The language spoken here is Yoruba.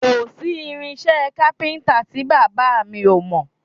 Kò sí irinṣẹ́ kápíntà tí bàbá mi ò mọ̀